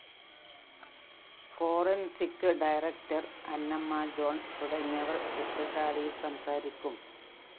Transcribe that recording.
forensic director Annamma John തുടങ്ങിയവര്‍ ശില്‍പശാലയില്‍ സംസാരിക്കും